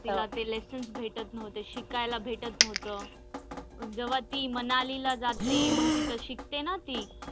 तिला ते lessons भेटत नव्हते शिकायला भेटत नव्हतं जेव्हा ती मनालीला जाते मग तिथे शिकते ना ती.